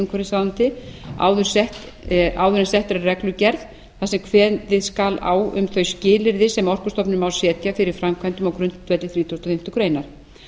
umhverfisráðuneyti áður en sett er reglugerð þar sem kveðið skal á um þau skilyrði sem orkustofnun má setja fyrir framkvæmdum á grundvelli þrítugasta og fimmtu grein